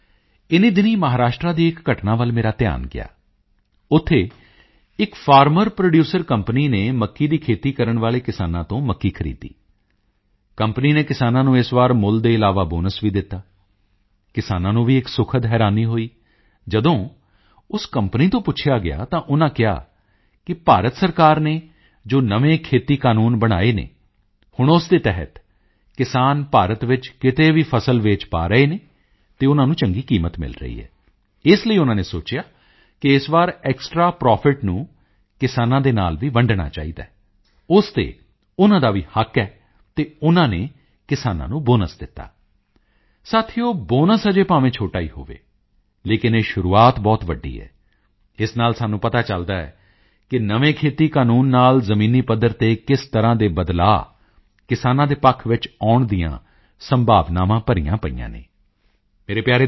ਸਾਥੀਓ ਇਨ੍ਹੀਂ ਦਿਨੀਂ ਮਹਾਰਾਸ਼ਟਰ ਦੀ ਇੱਕ ਘਟਨਾ ਵੱਲ ਮੇਰਾ ਧਿਆਨ ਗਿਆ ਉੱਥੇ ਇੱਕ ਫਾਰਮਰ ਪ੍ਰੋਡਿਊਸਰ ਕੰਪਨੀ ਨੇ ਮੱਕੀ ਦੀ ਖੇਤੀ ਕਰਨ ਵਾਲੇ ਕਿਸਾਨਾਂ ਤੋਂ ਮੱਕੀ ਖਰੀਦੀ ਕੰਪਨੀ ਨੇ ਕਿਸਾਨਾਂ ਨੂੰ ਇਸ ਵਾਰ ਮੁੱਲ ਦੇ ਇਲਾਵਾ ਬੋਨਸ ਵੀ ਦਿੱਤਾ ਕਿਸਾਨਾਂ ਨੂੰ ਵੀ ਇੱਕ ਸੁਖਦ ਹੈਰਾਨੀ ਹੋਈ ਜਦੋਂ ਉਸ ਕੰਪਨੀ ਤੋਂ ਪੁੱਛਿਆ ਤਾਂ ਉਨ੍ਹਾਂ ਕਿਹਾ ਕਿ ਭਾਰਤ ਸਰਕਾਰ ਨੇ ਜੋ ਨਵੇਂ ਖੇਤੀ ਕਾਨੂੰਨ ਬਣਾਏ ਹਨ ਹੁਣ ਉਸ ਦੇ ਤਹਿਤ ਕਿਸਾਨ ਭਾਰਤ ਵਿੱਚ ਕਿਤੇ ਵੀ ਫਸਲ ਵੇਚ ਪਾ ਰਹੇ ਹਨ ਅਤੇ ਉਨ੍ਹਾਂ ਨੂੰ ਚੰਗੀ ਕੀਮਤ ਮਿਲ ਰਹੀ ਹੈ ਇਸ ਲਈ ਉਨ੍ਹਾਂ ਨੇ ਸੋਚਿਆ ਕਿ ਇਸ ਵਾਰ ਐਕਸਟਰਾ ਪ੍ਰੋਫਿਟ ਨੂੰ ਕਿਸਾਨਾਂ ਦੇ ਨਾਲ ਵੀ ਵੰਡਣਾ ਚਾਹੀਦਾ ਹੈ ਉਸ ਤੇ ਉਨ੍ਹਾਂ ਦਾ ਵੀ ਹੱਕ ਹੈ ਅਤੇ ਉਨ੍ਹਾਂ ਨੇ ਕਿਸਾਨਾਂ ਨੂੰ ਬੋਨਸ ਦਿੱਤਾ ਸਾਥੀਓ ਬੋਨਸ ਅਜੇ ਭਾਵੇਂ ਛੋਟਾ ਹੀ ਹੋਵੇ ਲੇਕਿਨ ਇਹ ਸ਼ੁਰੂਆਤ ਬਹੁਤ ਵੱਡੀ ਹੈ ਇਸ ਨਾਲ ਸਾਨੂੰ ਪਤਾ ਚਲਦਾ ਹੈ ਕਿ ਨਵੇਂ ਖੇਤੀ ਕਾਨੂੰਨ ਨਾਲ ਜ਼ਮੀਨੀ ਪੱਧਰ ਤੇ ਕਿਸ ਤਰ੍ਹਾਂ ਦੇ ਬਦਲਾਓ ਕਿਸਾਨਾਂ ਦੇ ਪੱਖ ਵਿੱਚ ਆਉਣ ਦੀਆਂ ਸੰਭਾਵਨਾਵਾਂ ਭਰੀਆਂ ਪਈਆਂ ਹਨ